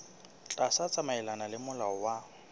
tla tsamaelana le molao wa